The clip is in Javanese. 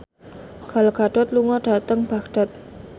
Gal Gadot lunga dhateng Baghdad